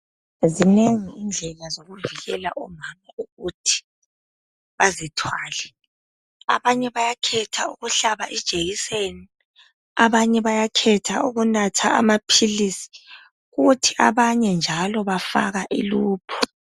Zinengi indlela zokufihlela omama ukuthi bazithwale abanye bayakhetha ukuhlaba ijekiseni abanye bayakhetha ukunatha ama philisi kuthi abanye njalo bafaka i loop.